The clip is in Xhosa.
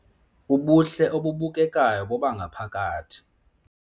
Ubuhle obubukekayo bobangaphakathi